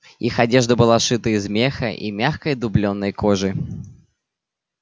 их одежда была сшита из меха и мягкой дублёной кожи